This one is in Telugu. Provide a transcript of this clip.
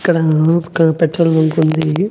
ఇక్కడా పక్కన పెట్రోల్ బంకు ఉంది.